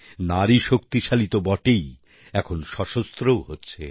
নারী শক্তিশালী তো বটেই এখন সশস্ত্রও হচ্ছে